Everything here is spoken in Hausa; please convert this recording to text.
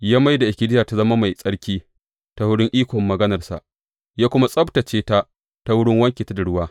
Ya mai da ikkilisiya ta zama mai tsarki ta wurin ikon maganarsa, ya kuma tsabtacce ta ta wurin wanke ta da ruwa.